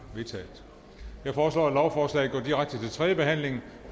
vedtaget jeg foreslår at lovforslaget går direkte til tredje behandling